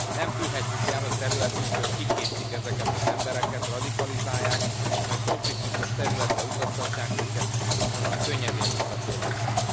Nem tűrhetjük el, hogy területünkön kiképzik ezeket az embereket, radikalizálják, majd konfliktusos területre utaztatják őket, ahonnan könnyedén visszatérhetnek.